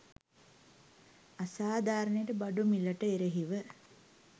අසාධාරණයට බඩු මිලට එරෙහිව